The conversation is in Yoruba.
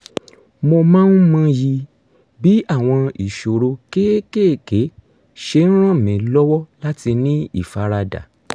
mo máa ń mọyì bí àwọn ìṣòro kéékèèké ṣe ràn mí lọ́wọ́ láti ní ìfaradà